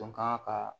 Dɔn kan ka